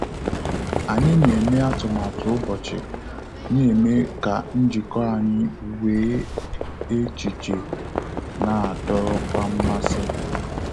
Anyị na eme atụmatụ ụbọchị, na-eme ka njikọ anyị wee echiche na adorokwa mmasi